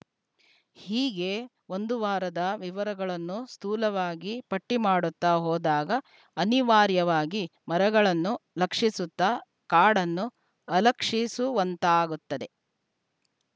ಹೀಗೆ ಒಂದು ವಾದದ ವಿವರಗಳನ್ನು ಸ್ಥೂಲವಾಗಿ ಪಟ್ಟಿಮಾಡುತ್ತಾ ಹೋದಾಗ ಅನಿವಾರ್ಯವಾಗಿ ಮರಗಳನ್ನು ಲಕ್ಷಿಸುತ್ತಾ ಕಾಡನ್ನು ಅಲಕ್ಷಿಸು ವಂತಾಗುತ್ತದೆ